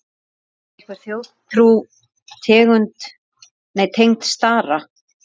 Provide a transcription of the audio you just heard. Er einhver þjóðtrú tengd stara?